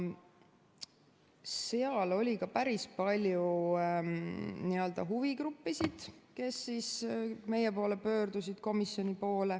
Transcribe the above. Seal oli ka päris palju huvigruppisid, kes meie komisjoni poole pöördusid.